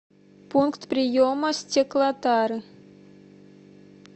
пункт приема стеклотары